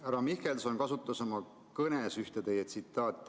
Härra Mihkelson kasutas oma kõnes ühte teie tsitaati.